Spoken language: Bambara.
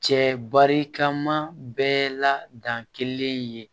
Cɛ barikama bɛɛ la dan kelen ye